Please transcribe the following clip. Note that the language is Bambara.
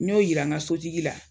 N y'o yira ŋa sotigi la